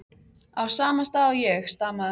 á sama stað og ég, stamaði hann.